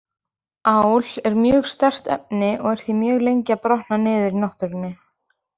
Ál er mjög sterkt efni og er því mjög lengi að brotna niður í náttúrunni.